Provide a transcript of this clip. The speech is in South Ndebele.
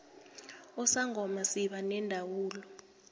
usangoma siba nendawula